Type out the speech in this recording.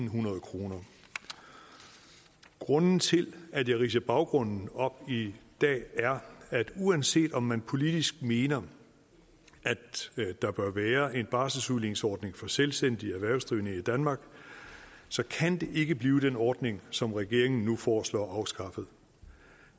hundrede kroner grunden til at jeg ridser baggrunden op i dag er at uanset om man politisk mener at der bør være en barselsudligningsordning for selvstændige erhvervsdrivende i danmark så kan det ikke blive den ordning som regeringen nu foreslår afskaffet